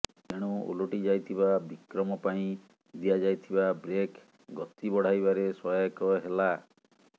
ତେଣୁ ଓଲଟିଯାଇଥିବା ବିକ୍ରମ ପାଇଁ ଦିଆଯାଇଥିବା ବ୍ରେକ୍ ଗତିବଢାଇବାରେ ସହାୟକ ହେଲା